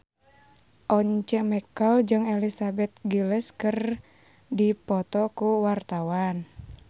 Once Mekel jeung Elizabeth Gillies keur dipoto ku wartawan